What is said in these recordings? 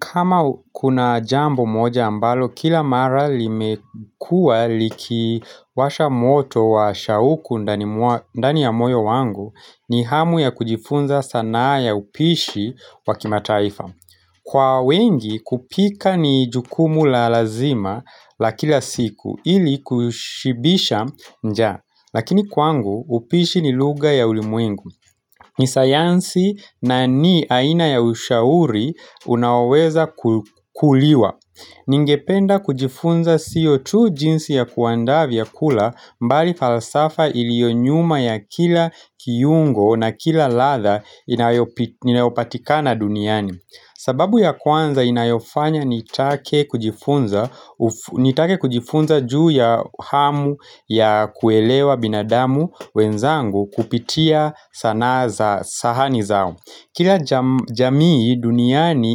Kama kuna jambo moja ambalo, kila mara limekua likiwasha moto wa shauku ndani ya moyo wangu, ni hamu ya kujifunza sana ya upishi wa kimataifa. Kwa wengi, kupika ni jukumu la lazima la kila siku, ili kushibisha njaa. Lakini kwangu upishi ni lugha ya ulimwengu ni sayansi na ni aina ya ushauri unaweza kuliwa Ningependa kujifunza sio tu jinsi ya kuanda vyakula bali falsafa ilionyuma ya kila kiungo na kila ladha inayopatika na duniani sababu ya kwanza inayofanya nitake kujifunza juu ya hamu ya kuelewa binadamu wenzangu kupitia sana za sahani zao Kila jamii duniani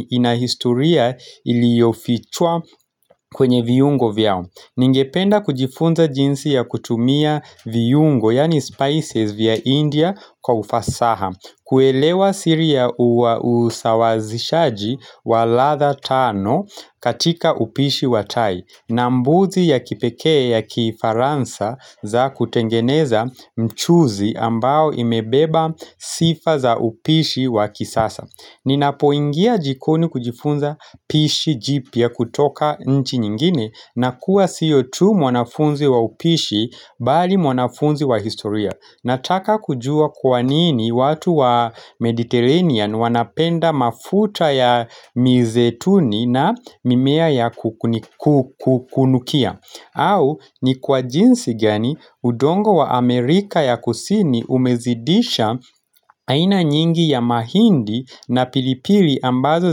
inahistoria iliyofichwa kwenye viyungo vyao Ningependa kujifunza jinsi ya kutumia viyungo yani spices vya India kwa ufasaha kuelewa siri ya usawazishaji wa ladha tano katika upishi watai na mbuzi ya kipekea ya kifaransa za kutengeneza mchuzi ambao imebeba sifa za upishi wa kisasa Ninapoingia jikoni kujifunza upishi jipya kutoka nchi nyingine na kuwa siyo tu mwanafunzi wa upishi bali mwanafunzi wa historia Nataka kujua kwanini watu wa Mediterranean wanapenda mafuta ya mizetuni na mimea ya kukunukia au ni kwa jinsi gani udongo wa Amerika ya kusini umezidisha aina nyingi ya mahindi na pilipili ambazo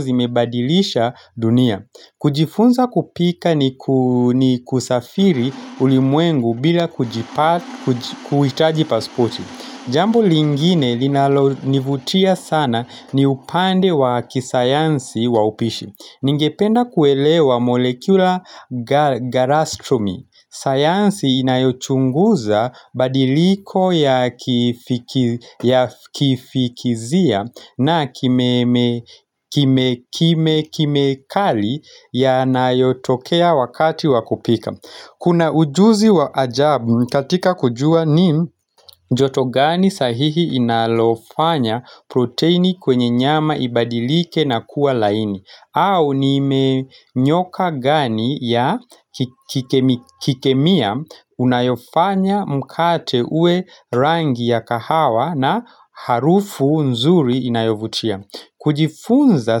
zimebadilisha dunia kujifunza kupika ni kusafiri ulimwengu bila kuitaji paspoti Jambu lingine linalo nivutia sana ni upande wa kisayansi wa upishi Ningependa kuelewa molekula garastromi sayansi inayochunguza badiliko ya kifikizia na kimekali ya nayotokea wakati wa kupika Kuna ujuzi wa ajabu katika kujua ni joto gani sahihi inalofanya protein kwenye nyama ibadilike na kuwa laini au nimenyoka gani ya kikemia unayofanya mkate uwe rangi ya kahawa na harufu nzuri inayovutia kujifunza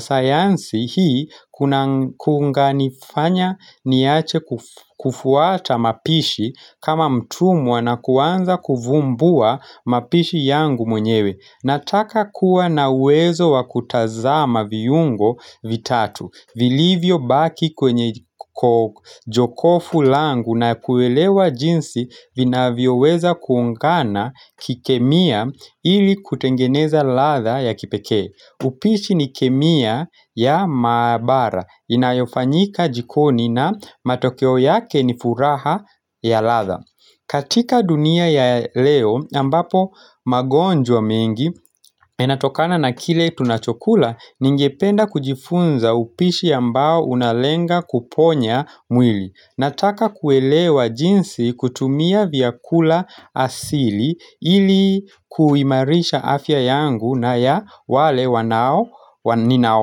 sayansi hii kuna nganifanya niache kufuata mapishi kama mtumwa na kuanza kuvumbua mapishi yangu mwenyewe Nataka kuwa nawezo wa kutazama viungo vitatu vilivyo baki kwenye jokofu langu na kuwelewa jinsi vinavyoweza kuungana kikemia ili kutengeneza ladha ya kipeke upishi ni kemia ya mabara inayofanyika jikoni na matokeo yake ni furaha ya ladha katika dunia ya leo ambapo magonjwa mengi enatokana na kile tunachokula ningependa kujifunza upishi ambao unalenga kuponya mwili Nataka kuelewa jinsi kutumia vyakula asili ilikuimarisha afya yangu na ya wale wanao ninao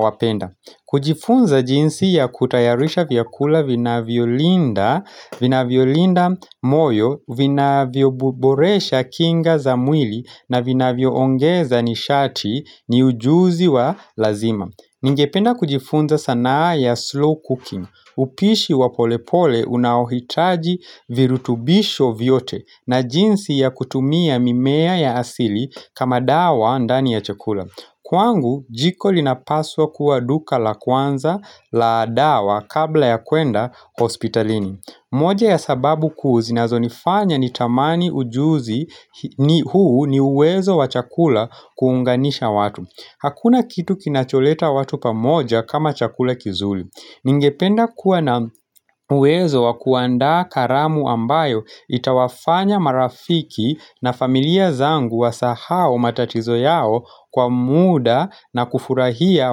wapenda kujifunza jinsi ya kutayarisha vyakula vinavyo linda, vinavyo linda moyo, vinavyoboresha kinga za mwili na vinavyo ongeza nishati ni ujuzi wa lazima. Ningependa kujifunza sanaa ya slow cooking. Upishi wa polepole unahitaji virutubisho vyote na jinsi ya kutumia mimea ya asili kama dawa ndani ya chakula. Kwangu, jiko linapaswa kuwa duka la kwanza la dawa kabla ya kwenda hospitalini. Moja ya sababu kuu zinazo nifanya ni tamani ujuzi ni huu ni uwezo wa chakula kuunganisha watu. Hakuna kitu kinacholeta watu pamoja kama chakula kizuri. Ningependa kuwa na uwezo wa kuandaa karamu ambayo itawafanya marafiki na familia zangu wa sahau matatizo yao kwa muda na kufurahia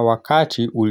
wakati uli.